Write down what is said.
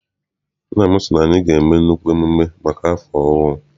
Nna m sị na anyị ga- eme nnukwu mmemme maka afọ ọhụụ.